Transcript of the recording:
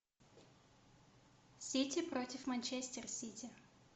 сити против манчестер сити